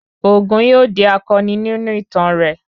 Ògún yóò di akọni nínú ìtàn rẹ